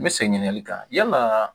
N bɛ segin n kan yala